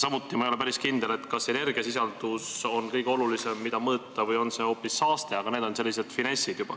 Samuti ei ole ma päris kindel, kas energiasisaldus on kõige olulisem asi, mida mõõta, või on see hoopis saaste, aga need on sellised finessid.